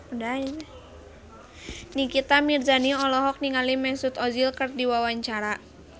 Nikita Mirzani olohok ningali Mesut Ozil keur diwawancara